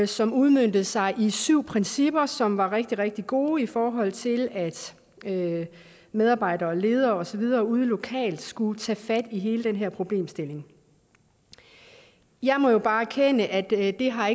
som udmøntede sig i syv principper som var rigtig rigtig gode i forhold til at medarbejdere ledere og så videre ude lokalt skulle tage fat i hele den her problemstilling jeg må jo bare erkende at det ikke har